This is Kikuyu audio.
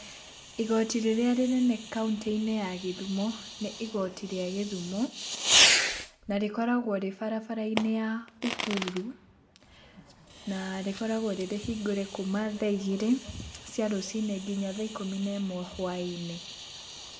Igoti rĩrĩa rĩnene kaũntĩ-inĩ ya gĩthumo nĩ igoti gĩa gĩthumo na rĩkoragwo rĩ barabara-inĩ ya Uhuru na rĩkoragwo rĩrĩhingũre kuma tha igĩrĩ cia rũciinĩ nginya thaa ikũmi na ĩmwe hwainĩ.